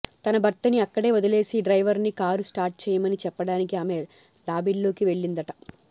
తన భర్తని అక్కడే వదిలేసి డ్రైవర్ ని కారు స్టార్ట్ చేయమని చెప్పడానికి ఆమె లాబీల్లోకి వెళ్లిందట